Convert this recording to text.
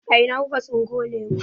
A ina kuka tsinko lemu?